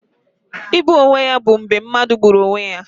Igbu onwe ya bụ mgbe mmadụ gburu onwe ya